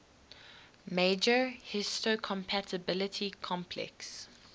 major histocompatibility complex